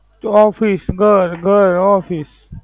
Office ઘર ઘર office.